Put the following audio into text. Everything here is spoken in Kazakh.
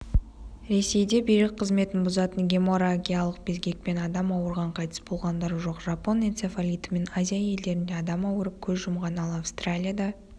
ресейде бүйрек қызметін бұзатын геморрагиякалық безгекпен адам ауырған қайтыс болғандар жоқ жапон энцефалитімен азия елдерінде адам ауырып көз жұмған ал австралияда